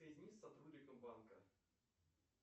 сотрудником банка